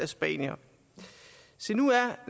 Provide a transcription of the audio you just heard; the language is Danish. skrev herre